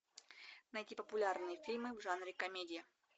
найти популярные фильмы в жанре комедия